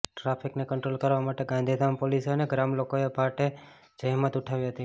traffic ને control કરવા માટે ગાંધીધામ પોલીસે અને ગ્રામ લોકો એ ભારે જહેમત ઉઠાવી હતી